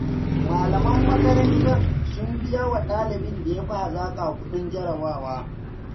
Malaman makarantar sun biyawa ɗalibin da ya fi hazaƙa kuɗin jarabawa.